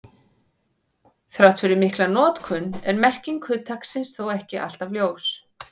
Þrátt fyrir mikla notkun er merking hugtaksins þó ekki alltaf ljós.